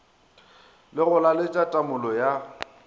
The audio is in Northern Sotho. le go laletša tamolo ya